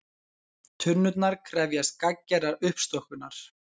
Tunnurnar krefjast gagngerrar uppstokkunar